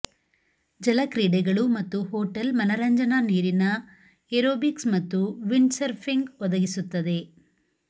ಜಲ ಕ್ರೀಡೆಗಳು ಮತ್ತು ಹೋಟೆಲ್ ಮನರಂಜನಾ ನೀರಿನ ಏರೋಬಿಕ್ಸ್ ಮತ್ತು ವಿಂಡ್ಸರ್ಫಿಂಗ್ ಒದಗಿಸುತ್ತದೆ